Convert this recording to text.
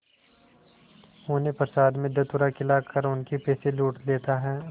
उन्हें प्रसाद में धतूरा खिलाकर उनके पैसे लूट लेता है